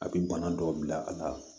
A bi bana dɔw bila a la